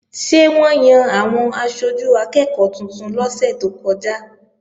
Ṣé wọ́n yan àwọn aṣojú akẹ́ẹ̀kọ́ tuntun lọ́sẹ̀ tó kọjá?